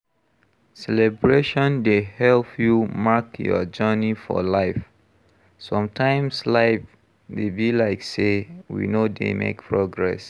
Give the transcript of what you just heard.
Celebration dey help you mark your journey for life, sometimes life dey be like sey we no dey make progress